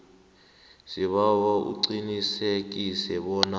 sibawa uqinisekise bona